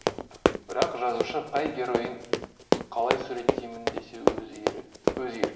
бірақ жазушы қай геройын қалай суреттеймін десе өз еркі